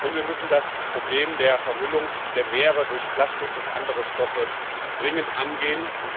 Und wir müssen das Problem der Vermüllung der Meere durch Plastik und andere Stoffe dringend angehen.